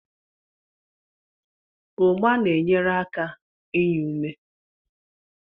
Ugba na-enyere aka inye ume.